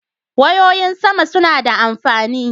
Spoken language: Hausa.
Wayoyin sama suna da amfani.